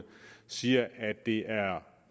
siger at det